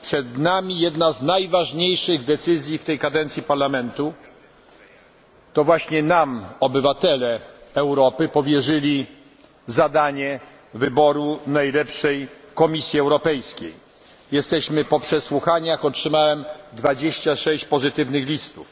Przed nami jedna z najważniejszych decyzji w tej kadencji Parlamentu. To właśnie nam obywatele Europy powierzyli zadanie wyboru najlepszej Komisji Europejskiej. Jesteśmy po przesłuchaniach. Otrzymałem 26 pozytywnych listów.